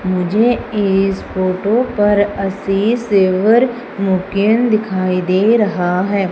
मुझे इस फोटो पर आशीष सेवर मुकेंद दिखाई दे रहा है।